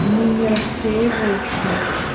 они не рассеиваются